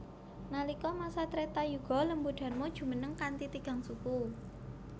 Nalika masa Treta Yuga Lembu Dharma jumeneng kanthi tigang suku